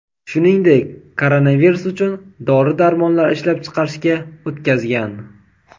shuningdek koronavirus uchun dori-darmonlar ishlab chiqarishga o‘tkazgan.